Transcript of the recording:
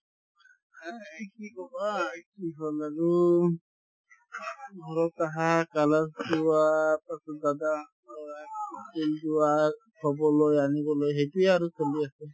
এই কি ক'বা ঘৰত আহা class ing যোৱা ‌ থ'বলৈ আনিবলৈ সেইটোয়ে আৰু চলি আছে